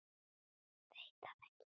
Veit það ekki.